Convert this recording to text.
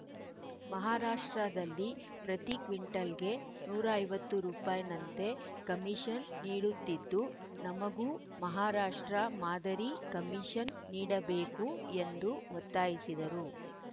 ಮಹಾರಾಷ್ಟ್ರದಲ್ಲಿ ಪ್ರತಿ ಕ್ವಿಂಟಲ್‌ಗೆ ನೂರ ಐವತ್ತು ರುಪೈ ನಂತೆ ಕಮೀಷನ್‌ ನೀಡುತ್ತಿದ್ದು ನಮಗೂ ಮಹಾರಾಷ್ಟ್ರ ಮಾದರಿ ಕಮೀಷನ್‌ ನೀಡಬೇಕು ಎಂದು ಒತ್ತಾಯಿಸಿದರು